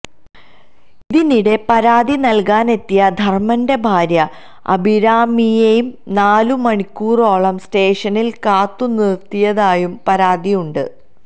ഇതിനിടെ പരാതി നൽകാനെത്തിയ ധർമന്റെ ഭാര്യ അഭിരാമിയെ നാലു മണിക്കൂറോളം സ്റ്റേഷനിൽ കാത്തു നിർത്തിയതായും പരാതിയുണ്ട്